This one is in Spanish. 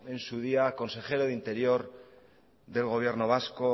en su día consejero de interior del gobierno vasco